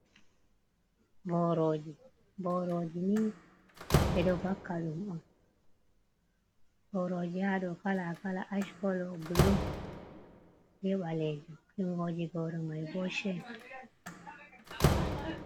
Boroji, boroji ni ɓe ɗo bakaɗum on booroji haɗo kala kala ash kolo, bulu, be ɓaleji jungoji boro mai bo she.